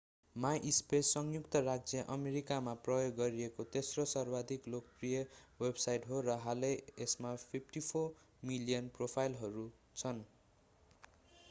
MySpace संयुक्त राज्य अमेरिकामा प्रयोग गरिएको तेस्रो सर्वाधिक लोकप्रिय वेबसाईंट हो र हालै यसमा 54 मिलियन प्रोफाइलहरू छन्